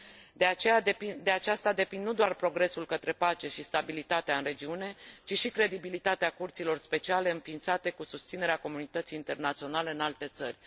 De aceasta depind nu doar progresul către pace și stabilitatea în regiune, ci și credibilitatea curților speciale înființate cu susținerea comunității internaționale în alte țări.